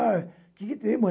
Ah, o que que tem, mãe?